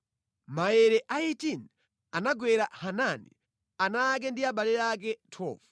Maere a 18 anagwera Hanani, ana ake ndi abale ake. 12